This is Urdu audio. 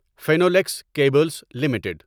Finolex Cables limited